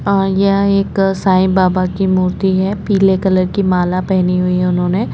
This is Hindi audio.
अं यह एक साई बाबा की मूर्ति है पीले कलर की माला पहनी हुई है उन्होंने--